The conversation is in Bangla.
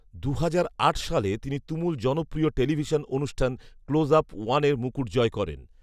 দুহাজার আট সালে তিনি তুমুল জনপ্রিয় টেলিভিশন অনুষ্ঠান ক্লোজআপ ওয়ানের মুকুট জয় করেন